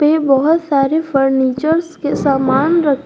इसमें बहोत सारे फर्नीचर्स के सामान रखे--